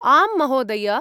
आम् महोदय।